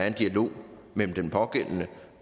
en dialog mellem den pågældende